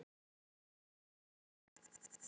Veistu af hverju?